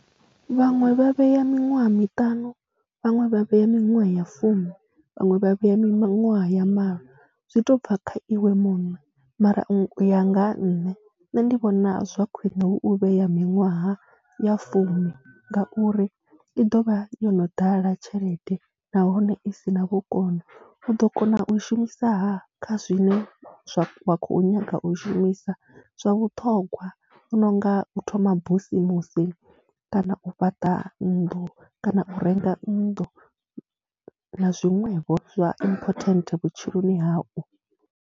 Vhaṅwe vha vhea miṅwaha miṱanu, vhaṅwe vha vhea minwaha ya fumi, vhaṅwe vha vhea miṅwaha ya malo, zwi tou bva kha iwe muṋe mara u ya nga ha nṋe, nṋe ndi vhona zwa khwine hu u vhea minwaha ya fumi ngauri i ḓo vha yo no ḓala tshelede nahone i si na vhukono, u ḓo kona u i shumisaha kha zwine zwa, wa khou nyaga u shumisa zwa vhuṱhongwa, hu no nga u thoma busimusi kana u fhaṱa nnḓu kana u renga nnḓu na zwiṅwevho zwa important vhutshiloni hau.